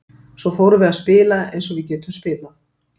Svo fórum við að spila eins og við getum spilað.